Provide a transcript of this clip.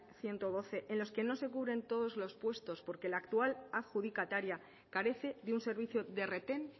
ehun eta hamabi en los que no se cubren todos los puestos porque la actual adjudicataria carece de un servicio de retén